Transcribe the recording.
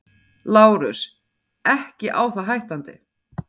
LÁRUS: Ekki á það hættandi.